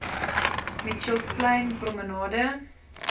mitchells plain promenade